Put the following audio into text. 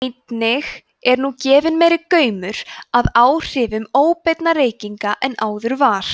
einnig er nú gefinn meiri gaumur að áhrifum óbeinna reykinga en áður var